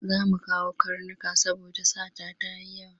Za mu kawo karnuka saboda sata ta yi yawa.